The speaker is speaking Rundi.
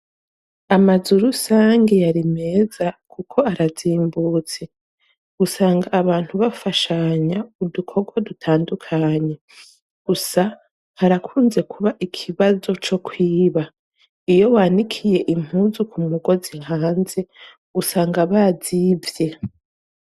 amazurusange yari meza kuko arazimbutse gusanga abantu bafashanya udukogwa dutandukanye gusa harakunze kuba ikibazo co kwiba iyo wanikiye impuzu ku mugozi hanze gusanga bazibye